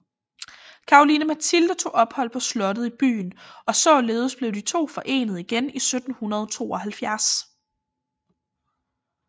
Caroline Mathilde tog ophold på slottet i byen og således blev de to forenet igen i 1772